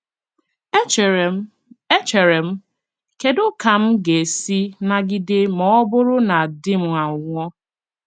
Echere m, Echere m, ‘ Kedu ka m ga-esi nagide ma ọ bụrụ na di m anwụọ?